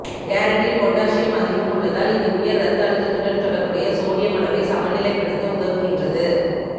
கேரட்டில் potassium அதிகம் உள்ளதால் இது உயர் இரத்த அழுத்தத்துடன் தொடர்புடைய சோடியம் அளவை சமநிலைப்படுத்த உதவுகின்றது